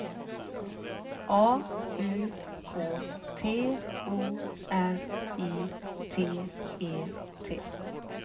A U K T O R I T E T